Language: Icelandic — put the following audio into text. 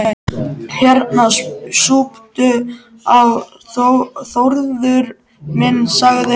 Hérna, súptu á, Þórður minn sagði hann.